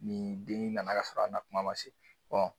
Nin den nana k'a k'a sɔrɔ a na kuma ma se